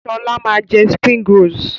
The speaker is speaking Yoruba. Sọlá máa jẹ "springrolls".